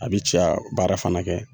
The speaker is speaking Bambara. A bi cɛya baara fana kɛ